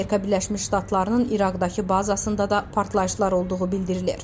Amerika Birləşmiş Ştatlarının İraqdakı bazasında da partlayışlar olduğu bildirilir.